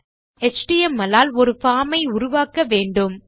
நாம் எச்டிஎம்எல் ஆல் ஒரு பார்ம் ஐ உருவாக்க வேண்டும்